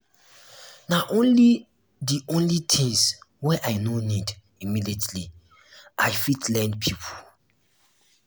na only di only di tins wey i no need immediately i fit lend pipo.